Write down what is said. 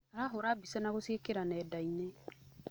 Arahũra mbica na gũciĩkĩra nendainĩ.